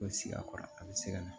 O sigi a kɔrɔ a bɛ se ka na